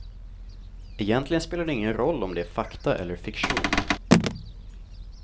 Egentligen spelar det ingen roll om det är fakta eller fiktion.